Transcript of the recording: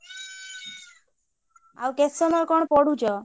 ଆଉ କେତେ ସମୟ କଣ ପଢୁଛ?